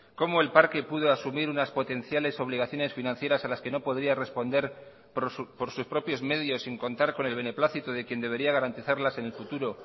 cómo el parque pudo asumir unas potenciales obligaciones financieras a las que no podría responder por sus propios medios sin contar con el beneplácito de quien debería garantizarlas en el futuro